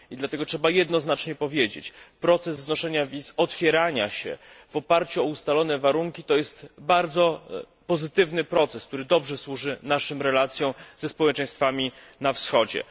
I dlatego trzeba jednoznacznie powiedzieć proces znoszenia wiz, otwierania się w oparciu o ustalone warunki to jest bardzo pozytywny proces, który dobrze służy naszym relacjom ze społeczeństwami na Wschodzie.